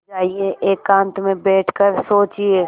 जाइए एकांत में बैठ कर सोचिए